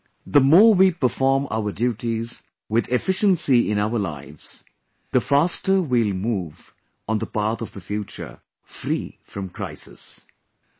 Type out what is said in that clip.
As a citizen, the more we perform our duties with efficiency in our lives, the faster we will move on the path of the future, free from crisis